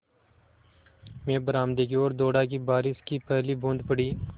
मैं बरामदे की ओर दौड़ा कि बारिश की पहली बूँद पड़ी